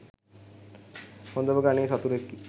හොඳම ගණයේ සතුරෙකි